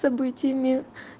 событиями